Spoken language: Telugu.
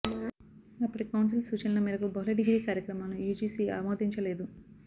అప్పటి కౌన్సిల్ సూచనల మేరకు బహుళ డిగ్రీ కార్యక్రమాలను యూజీసీ ఆమోదించలేదు